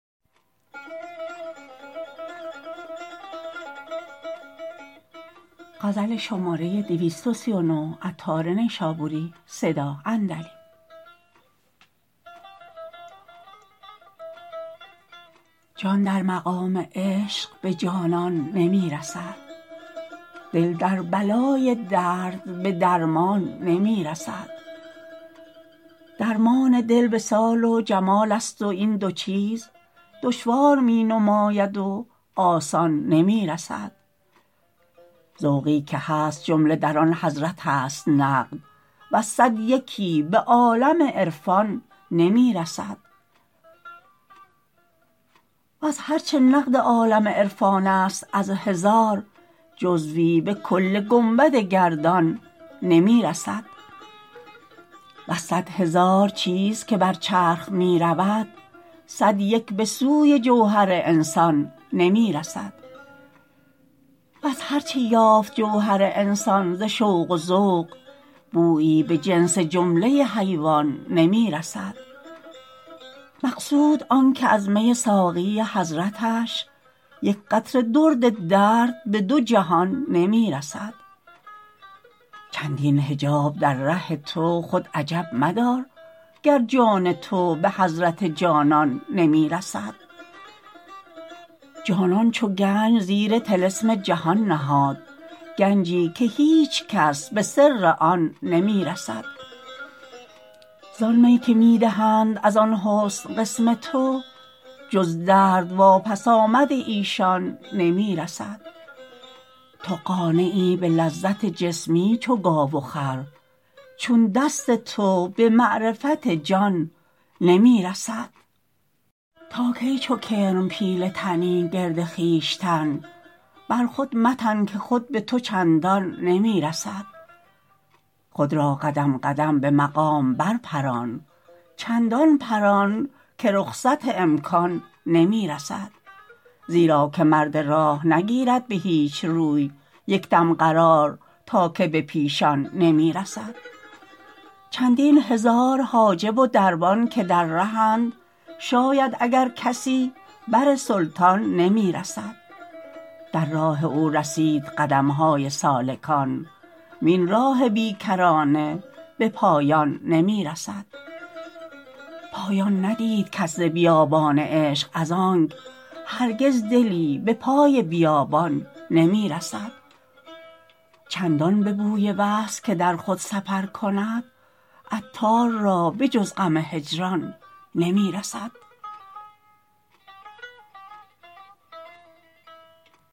جان در مقام عشق به جانان نمی رسد دل در بلای درد به درمان نمی رسد درمان دل وصال و جمال است و این دو چیز دشوار می نماید و آسان نمی رسد ذوقی که هست جمله در آن حضرت است نقد وز صد یکی به عالم عرفان نمی رسد وز هرچه نقد عالم عرفانست از هزار جزوی به کل گنبد گردان نمی رسد وز صد هزار چیز که بر چرخ می رود صد یک به سوی جوهر انسان نمی رسد وز هرچه یافت جوهر انسان ز شوق و ذوق بویی به جنس جمله حیوان نمی رسد مقصود آنکه از می ساقی حضرتش یک قطره درد درد به دو جهان نمی رسد چندین حجاب در ره تو خود عجب مدار گر جان تو به حضرت جانان نمی رسد جانان چو گنج زیر طلسم جهان نهاد گنجی که هیچ کس به سر آن نمی رسد زان می که می دهند از آن حسن قسم تو جز درد واپس آمد ایشان نمی رسد تو قانعی به لذت جسمی چو گاو و خر چون دست تو به معرفت جان نمی رسد تا کی چو کرم پیله تنی گرد خویشتن بر خود متن که خود به تو چندان نمی رسد خود را قدم قدم به مقامات بر پران چندان پران که رخصت امکان نمی رسد زیرا که مرد راه نگیرد به هیچ روی یکدم قرار تا که به پیشان نمی رسد چندین هزار حاجب و دربان که در رهند شاید اگر کسی بر سلطان نمی رسد در راه او رسید قدم های سالکان وین راه بی کرانه به پایان نمی رسد پایان ندید کس ز بیابان عشق از آنک هرگز دلی به پای بیابان نمی رسد چندان به بوی وصل که در خود سفر کند عطار را به جز غم هجران نمی رسد